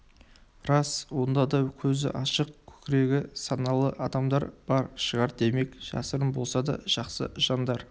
рас онда да көзі ашық көкірегі саналы адамдар бар шығар демек жасырын болса да жақсы жандар